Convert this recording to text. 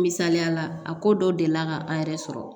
Misaliyala a ko dɔ delila ka an yɛrɛ sɔrɔ